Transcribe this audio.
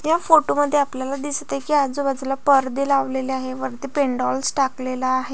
त्या फोटो मध्ये आपल्याला दिसतंय की आजूबाजूला परदे लावलेले आहे. वरती पेंडोल स टाकलेला आहे.